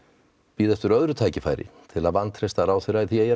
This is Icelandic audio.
bíða eftir öðru tækifæri til að vantreysta ráðherra því ég er